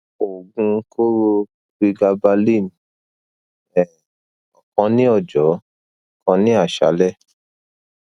oogun koro pregabalin um okan ni ojo kan ni asale